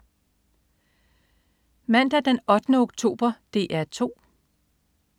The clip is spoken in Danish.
Mandag den 8. oktober - DR 2: